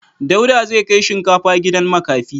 Dauda zai kai shinkafa gidan makafi.